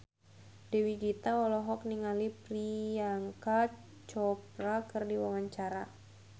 Dewi Gita olohok ningali Priyanka Chopra keur diwawancara